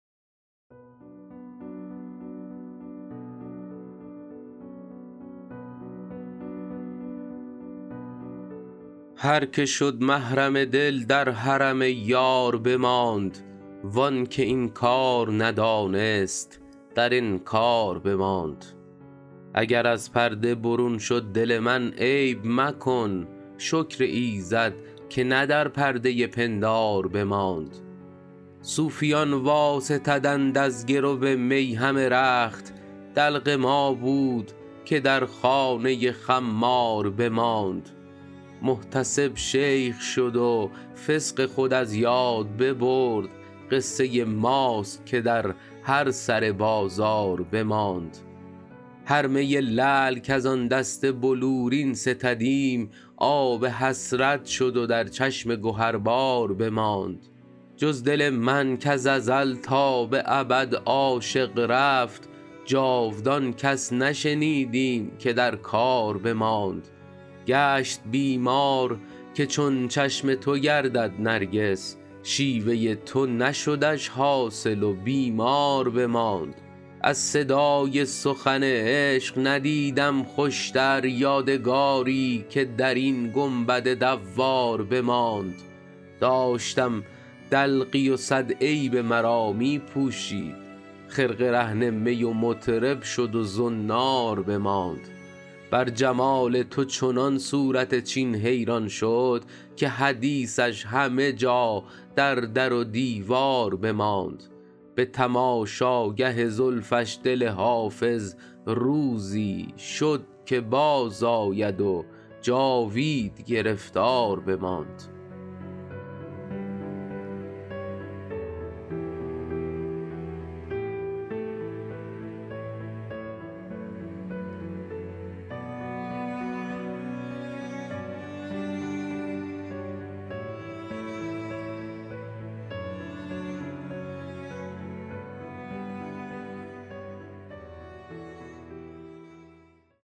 هر که شد محرم دل در حرم یار بماند وان که این کار ندانست در انکار بماند اگر از پرده برون شد دل من عیب مکن شکر ایزد که نه در پرده پندار بماند صوفیان واستدند از گرو می همه رخت دلق ما بود که در خانه خمار بماند محتسب شیخ شد و فسق خود از یاد ببرد قصه ماست که در هر سر بازار بماند هر می لعل کز آن دست بلورین ستدیم آب حسرت شد و در چشم گهربار بماند جز دل من کز ازل تا به ابد عاشق رفت جاودان کس نشنیدیم که در کار بماند گشت بیمار که چون چشم تو گردد نرگس شیوه تو نشدش حاصل و بیمار بماند از صدای سخن عشق ندیدم خوشتر یادگاری که در این گنبد دوار بماند داشتم دلقی و صد عیب مرا می پوشید خرقه رهن می و مطرب شد و زنار بماند بر جمال تو چنان صورت چین حیران شد که حدیثش همه جا در در و دیوار بماند به تماشاگه زلفش دل حافظ روزی شد که بازآید و جاوید گرفتار بماند